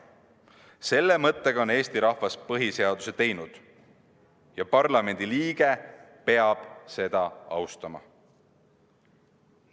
Selle mõttega on Eesti rahvas põhiseaduse teinud ja parlamendiliige peab seda austama.